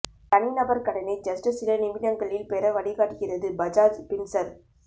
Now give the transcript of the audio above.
தனிநபர் கடனை ஜஸ்ட் சில நிமிடங்களில் பெற வழிகாட்டுகிறது பஜாஜ் பின்சர்வ்